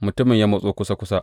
Mutumin ya matso kusa kusa.